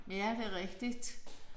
Ja det er rigtigt